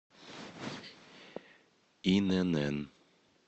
инн